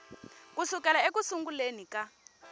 ku sukela eku sunguleni ka